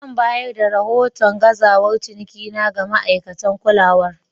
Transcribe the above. Zan bayar da rahoton gazawar cinikina ga ma'aikatan kulawar.